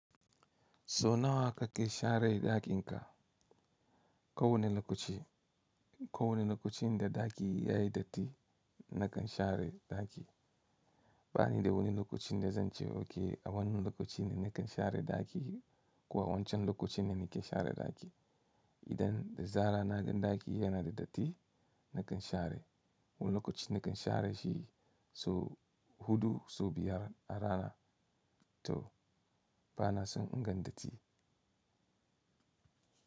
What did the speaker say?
So nawa kake share ɗakin ka? Ko wane lokaci, ko wane lokacin da ɗaki yayi datti nakan share ɗaki. Bani da wani lokacin da zan ce oke a wannan lokaci ne nakan share ɗaki ko a wancan lokaci ne nake share ɗaki. Idan da zara na gan ɗaki yana da datti nakan share. Wani lokaci nakan share shi so huɗu so biyar a rana to bana son in ga datti.